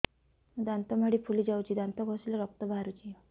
ମୋ ଦାନ୍ତ ମାଢି ଫୁଲି ଯାଉଛି ଦାନ୍ତ ଘଷିଲେ ରକ୍ତ ବାହାରୁଛି